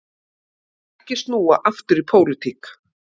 Vill ekki snúa aftur í pólitík